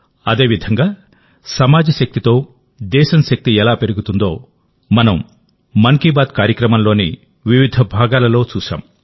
అదేవిధంగాసమాజ శక్తితో దేశం శక్తి ఎలా పెరుగుతుందో మనంమన్ కీ బాత్ కార్యక్రమంలోని వివిధ భాగాలలో చూశాం